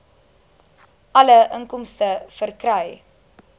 alle inkomste verkry